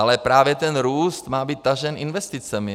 Ale právě ten růst má být tažen investicemi.